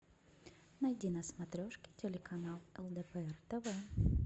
найди на смотрешке телеканал лдпр тв